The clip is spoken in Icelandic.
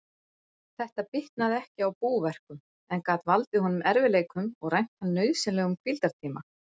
Þetta bitnaði ekki á búverkum, en gat valdið honum erfiðleikum og rænt hann nauðsynlegum hvíldartíma.